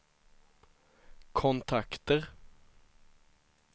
kontakter